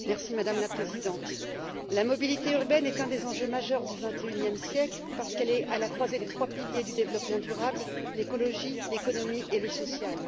Madame la Présidente, la mobilité urbaine est un des enjeux majeurs du 21e siècle parce qu'elle est à la croisée des 3 piliers du développement durable l'écologie, l'économie et le social.